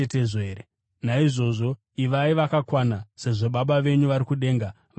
Naizvozvo, ivai vakakwana, sezvo Baba venyu vari kudenga vari vakakwana.